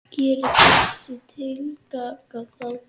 Gerir þessi tillaga það?